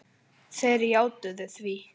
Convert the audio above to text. Þeir játuðu því.